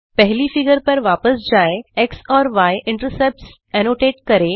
पहली फिगर पर वापस जाएं एक्स और य इंटरसेप्ट्स एनोटेट करें